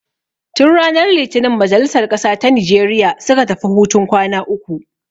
Tun ranar litinin majalisar ƙasa ta Nijeriya suka tafi hutun kwana uku.